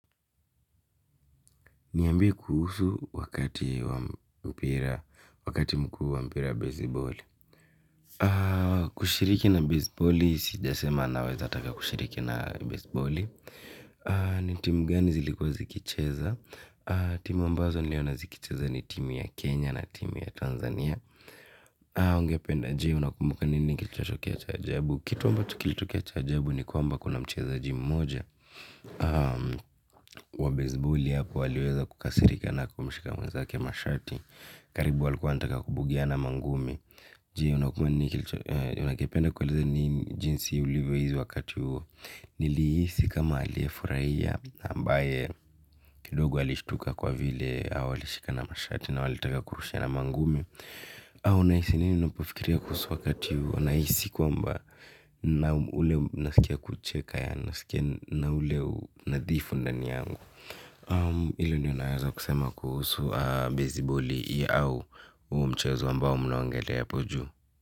Niambie kuhusu wakati mkuu wa mpira basebali. Kushiriki na basebali, sijasema naweza taka kushiriki na basebali. Ni timu gani zilikuwa zikicheza. Timu ambazo niliona zikicheza ni timu ya Kenya na timu ya Tanzania. Ungependa je, unakumbuka nini kilichotokea cha ajabu. Kitu ambacho kilitokea cha ajabu ni kwamba kuna mchezaji mmoja. Wa bazibali hapo aliweza kukasirika na kumshika mwezake mashati. Karibu walikua wanataka kubugiana mangumi. Je unakipenda kueleza ni jinsi ulivyohis wakati huo. Nilihisi kama aliyefurahia amabaye kidogo alishtuka kwa vile hao walishikani mashati na walitaka kurushiana mangumi. Au unahisi nini unapofikiria kuhusu wakati huo? Nahisi kwamba naam ule nasikia kucheka yaani nasikia na ule unadhifu ndani yangu. Hiyo ndyo naeza kusema kuhusu beziboli au huo mchezo ambao mnaongelea hapo juu.